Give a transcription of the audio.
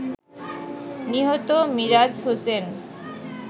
নিহত মিরাজ হোসেন